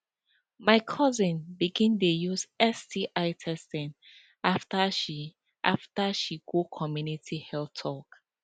my cousin begin dey use sti testing after she after she go community health talk